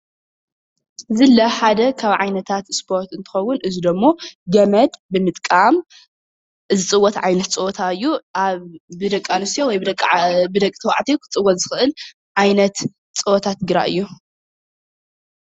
ዝላ ሓደ ካብ ዓይነታት ስፖርት እንትኸውን እዙይ ደሞ ገመድ ብምጥቃም ዝፅወት ዓይነት ፀወታ እዩ። አብ ብደቂ አንስትዮ ወይ ብደቂ ተባዕትዮ ክፅወት ዝክእል ዓይነት ፀወታ ትግራይ እዩ።